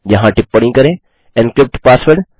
यहाँ टिप्पणी करें एनक्रिप्ट पासवर्ड